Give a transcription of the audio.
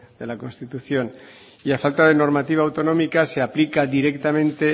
de la constitución y a falta de normativa autonómica se aplica directamente